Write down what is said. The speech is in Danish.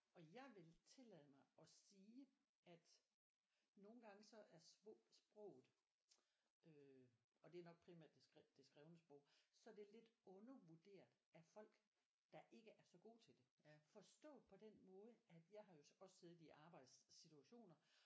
Og jeg ville tillade mig at sige at nogle gange så er sproget øh og det er nok primært det skrift det skrevne sprog så det lidt undervurderet at folk der ikke er så gode til det forstået på den måde at jeg har jo også siddet i arbejdssituationer